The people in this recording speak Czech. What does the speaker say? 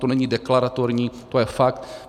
To není deklaratorní, to je fakt.